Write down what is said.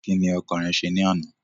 Kí ni ọkàn rẹ ṣe ní àná?